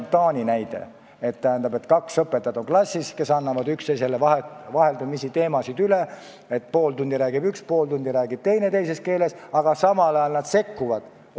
Taani näide on selline, et klassis on kaks õpetajat, kes annavad üksteisele vaheldumisi teemasid üle: pool tundi räägib üks ja pool tundi räägib teine teises keeles, aga vajaduse korral nad ka sekkuvad.